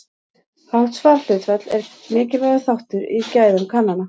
Hátt svarhlutfall er mikilvægur þáttur í gæðum kannana.